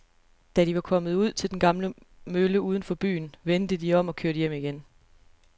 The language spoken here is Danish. Da de var kommet ud til den gamle mølle uden for byen, vendte de om og kørte hjem igen.